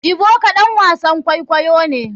Ebuka ɗan wasan kwaikwayo ne.